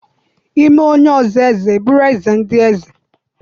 I mee onye ọzọ eze ịbụrụ eze ndị eze.